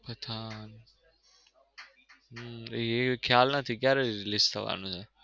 પઠાણ હમ એ ખ્યાલ નથી ક્યારે release થવાનું છે?